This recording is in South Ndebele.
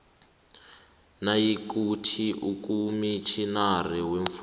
nayikuthi ukomitjhinara weemfungo